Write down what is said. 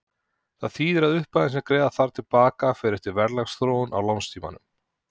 Það þýðir að upphæðin sem greiða þarf til baka fer eftir verðlagsþróun á lánstímanum.